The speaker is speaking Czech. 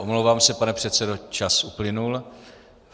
Omlouvám se, pane předsedo, čas uplynul.